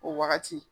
O wagati